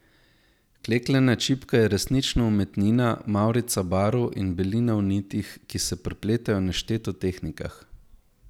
Klekljana čipka je resnično umetnina, mavrica barv in belina v nitih, ki se prepletajo v nešteto tehnikah.